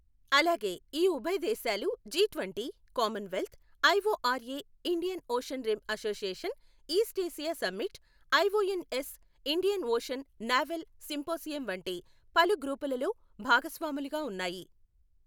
అలాగే ఈ ఉభయ దేశాలూ G twenty , Commonwealth, IOR A Indian Ocean Rim Association East Asia Summit, ION S Indian Ocean Naval Symposium వంటి పలు గ్రూపులలో భాగస్వాములుగా ఉన్నాయి.